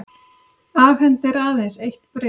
Afhendir aðeins eitt bréf